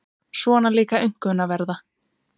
Svona líka aumkunarverða.